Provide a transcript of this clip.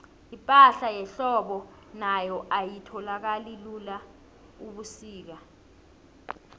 ipahla yehlobo nayo ayitholakali lula ubusika